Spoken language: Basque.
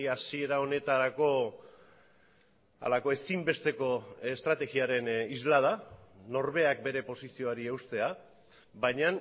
hasiera honetarako halako ezinbesteko estrategiaren islada norberak bere posizioari eustea baina